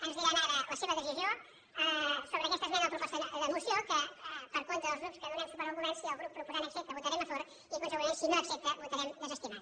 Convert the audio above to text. ens diran ara la seva decisió sobre aquesta esmena a la proposta de moció que per compte dels grups que donem suport al govern si el grup proposant accepta votarem a favor i conseqüentment si no accepta vo·tarem desestimant